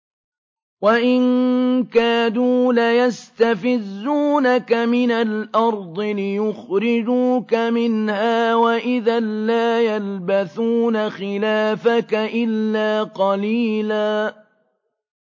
وَإِن كَادُوا لَيَسْتَفِزُّونَكَ مِنَ الْأَرْضِ لِيُخْرِجُوكَ مِنْهَا ۖ وَإِذًا لَّا يَلْبَثُونَ خِلَافَكَ إِلَّا قَلِيلًا